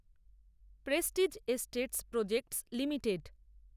Prestige Estates Projects limited